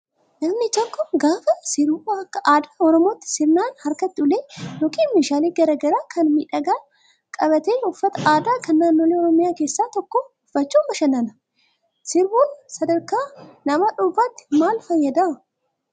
Namni tokko gaafa sirbu Akka aadaa oromootti sirnaan harkatti ulee yookiin meeshaalee garaagaraa kan miidhagan qabatee uffata aadaa kan naannoolee oromiyaa keessaa tokko uffachuun bashannana. Sirbuun sadarkaa nama dhuunfaatti maal fayyada?